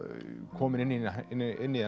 komin inn í inn í